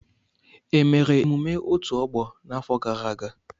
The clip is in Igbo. E mere emume otù ọgbọ n'afọ gara aga.